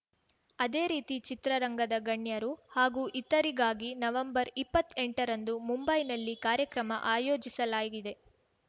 ಅದೇ ರೀತಿ ಚಿತ್ರರಂಗದ ಗಣ್ಯರು ಹಾಗೂ ಇತರಿಗಾಗಿ ನವೆಂಬರ್ಇಪ್ಪತ್ ಎಂಟರಂದು ಮುಂಬೈನಲ್ಲಿ ಕಾರ್ಯಕ್ರಮ ಆಯೋಜಿಸಲಾಗಿದೆ